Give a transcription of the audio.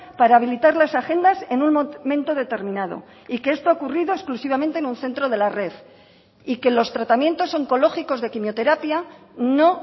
para habilitar las agendas en un momento determinado y que esto ha ocurrido exclusivamente en un centro de la red y que los tratamientos oncológicos de quimioterapia no